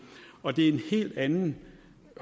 og det er en helt anden